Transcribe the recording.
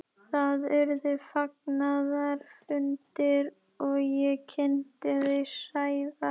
Eðlisviðnám bergsins sjálfs er yfirleitt mjög hátt.